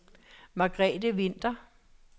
Margrethe Winther